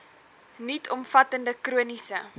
nuut omvattende chroniese